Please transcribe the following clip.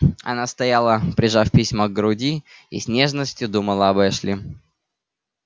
она стояла прижав письма к груди и с нежностью думала об эшли